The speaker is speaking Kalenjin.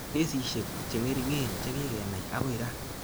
Kesishek cheng'ering'en chekikenai akoi raa